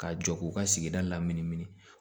Ka jɔ k'u ka sigida laminimini